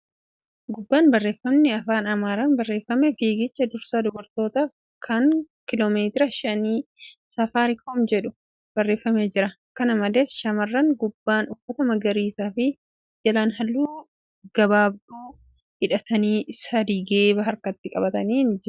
Gubbaan barreeffamni Afaan Amaaraan barreeffame fiigicha dursa dubartootaaf kan kiiloomeetira shanii Saafaariikoom jedhu barreefamee jira. Kana malees, Shamarran gubbaan uffata magariisa fi jilaan huccuu gabbaabduu dhidhatan sadii geeba harkatti qabatanii suura ka'aa jiru.